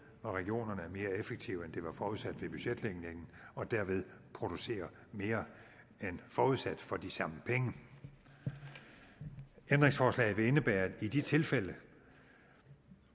hvor regionerne er mere effektive end det var forudsat ved budgetlægningen og derved producerer mere end forudsat for de samme penge ændringsforslaget vil indebære at i de tilfælde